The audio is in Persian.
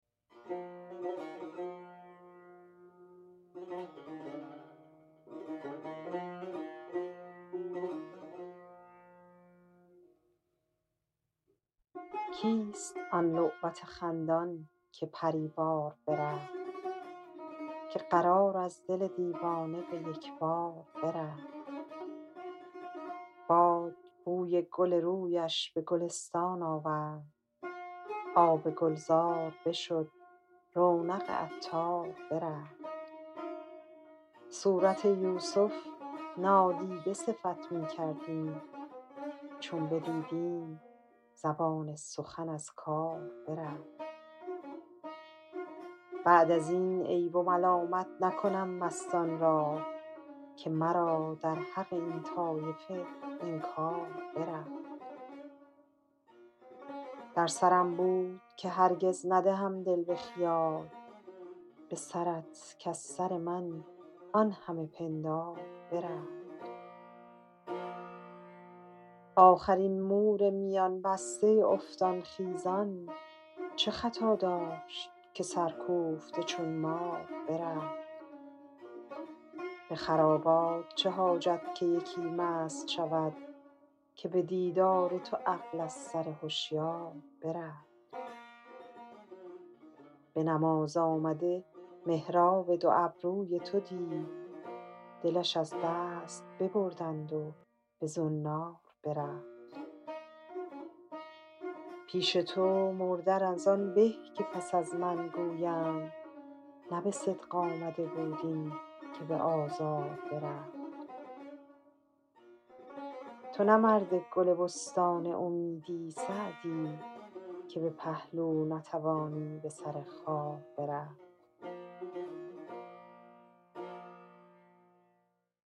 کیست آن لعبت خندان که پری وار برفت که قرار از دل دیوانه به یک بار برفت باد بوی گل رویش به گلستان آورد آب گلزار بشد رونق عطار برفت صورت یوسف نادیده صفت می کردیم چون بدیدیم زبان سخن از کار برفت بعد از این عیب و ملامت نکنم مستان را که مرا در حق این طایفه انکار برفت در سرم بود که هرگز ندهم دل به خیال به سرت کز سر من آن همه پندار برفت آخر این مور میان بسته افتان خیزان چه خطا داشت که سرکوفته چون مار برفت به خرابات چه حاجت که یکی مست شود که به دیدار تو عقل از سر هشیار برفت به نماز آمده محراب دو ابروی تو دید دلش از دست ببردند و به زنار برفت پیش تو مردن از آن به که پس از من گویند نه به صدق آمده بود این که به آزار برفت تو نه مرد گل بستان امیدی سعدی که به پهلو نتوانی به سر خار برفت